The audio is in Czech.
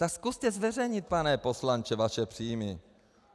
Tak zkuste zveřejnit, pane poslanče, vaše příjmy.